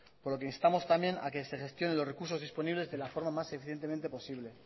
por lo que instamos también a que se gestione los recursos disponibles de la forma más eficientemente posible